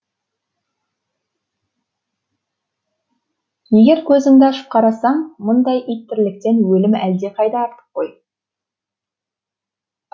егер көзіңді ашып қарасаң мұндай ит тірліктен өлім әлдеқайда артық қой